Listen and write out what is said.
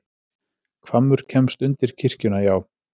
Hvammur kemst undir kirkjuna, já.